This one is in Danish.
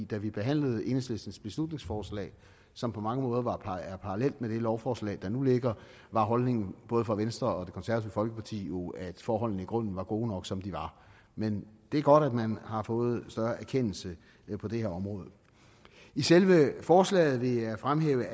da vi behandlede enhedslistens beslutningsforslag som på mange måder er parallelt med det lovforslag der nu ligger var holdningen både fra venstre og det konservative folkeparti jo at forholdene i grunden var gode nok som de var men det er godt at man har fået en større erkendelse på det her område i selve forslaget vil jeg fremhæve